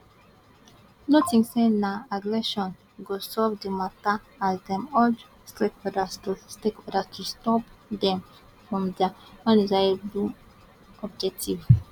no tink say na aggression go resolve di mata as dem urge stakeholders to stakeholders to stop dem from dia undesirable objectives